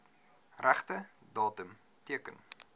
regte datum teken